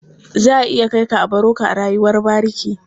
Za a iya kai ka a baro ka a rayuwar bariki.